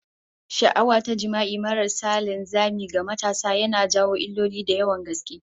Sha'awa ta jima'i maras linzami ga matasa yana jawo illoli da yawan gaske